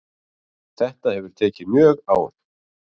Þetta hefur tekið mjög á